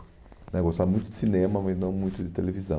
Né Gostava muito de cinema, mas não muito de televisão.